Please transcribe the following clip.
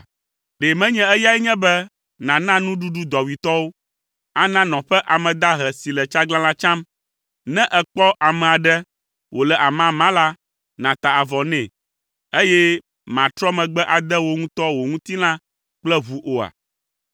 Ɖe menye eyae nye be nàna nuɖuɖu dɔwuitɔwo, ana nɔƒe ame dahe si le tsaglãla tsam, ne èkpɔ ame aɖe wòle amama la, nàta avɔ nɛ, eye màtrɔ megbe ade wò ŋutɔ wò ŋutilã kple ʋu oa?